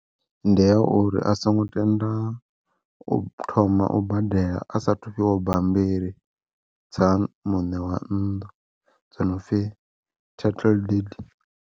Ndi ya uri a songo tenda u thoma u badela a sathu fhiwa bambiri, dza muṋe wa nnḓu dzo no pfi title deed.